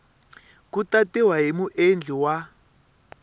ku tatiwa hi muendli wa